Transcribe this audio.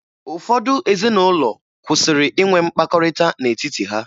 Ụfọdụ ezinụlọ kwụsịrị inwe mkpakọrịta n'etiti ha